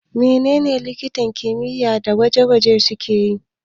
Menene likitan kimiyya na gwaji suke yi?